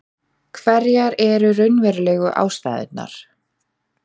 Hverjar eru raunverulegu ástæðurnar?